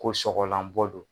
Ko sɔgɔlan bɔ don.